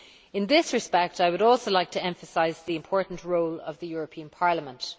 In this respect, I would also like to emphasise the important role of the European Parliament.